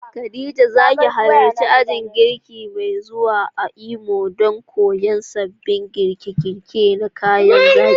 Khadija, za ki halarci ajin girki mai zuwa a Imo don koyon sabbin girke-girke na kayan zaki?